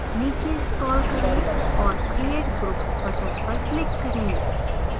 नीचे scroll करें और create group button पर click करें